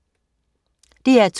DR2: